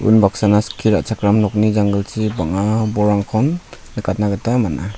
unbaksana skie ra·chakram nokni janggilchi bang·a bolrangkon nikatna gita man·a.